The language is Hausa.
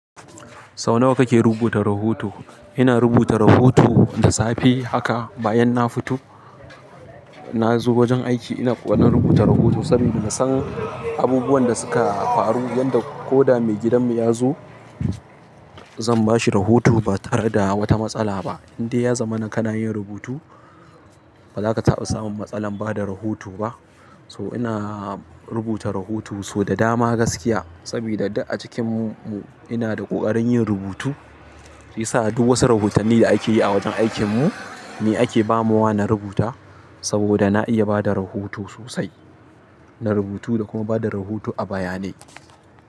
Sau nawa kake rubuta rahoto? Ina rubuta rahoto da safe haka bayan na fito, nazo wajen aiki ina ƙaunar rubuta rahoto saboda na san abubuwan da suka faru yadda ko da maigidanmu yazo, zan bashi rahoto ba tare da wata matsala ba. Indai yazamana kana yin rubutu, bazaka taɓa samun matsalar bada rahoto ba. So ina rubuta rahoto so da dama gaskiya saboda duk a cikin mu ina da ƙoƙarin yin rubutu. Shiyasa duk wasu rahoton ni da akeyi a wajen aikin mu ni ake bamawa na rubuta saboda na iya bada rahoto sosai. Na rubutu da kuma bada rahoto a bayanai.